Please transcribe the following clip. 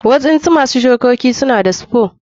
Waɗansu masu shukoki suna da spore.